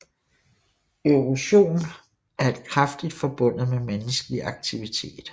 Erosion er kraftigt forbundet med menneskelig aktivitet